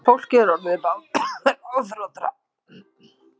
Fólkið er orðið ráðþrota